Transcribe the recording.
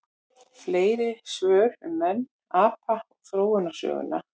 Fleiri svör um menn, apa og þróunarsöguna: